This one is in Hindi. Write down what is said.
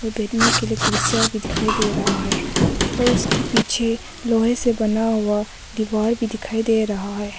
और बैठने के लिए कुर्सियां भी दिखाई दे रहा है और उसके पीछे लोहे से बना हुआ दीवार भी दिखाई दे रहा है।